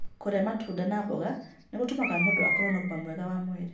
Kũrĩa matunda na mboga nĩ gũtũmaga mũndũ akorũo na ũgima mwega wa mwĩrĩ.